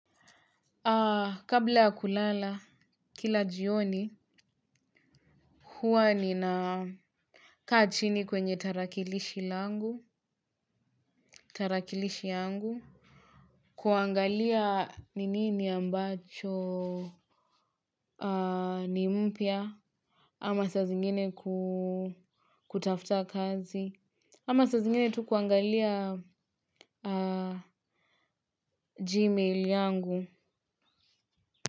Aa kabla ya kulala kila jioni huwa nina ka chini kwenye tarakilishi langu tarakilishi yangu kuangalia ni nini ambacho aa ni mpya ama sazingine kutafuta kazi ama sa zingine tu kuangalia aa gmail yangu.